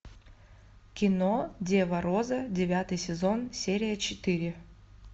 кино дева роза девятый сезон серия четыре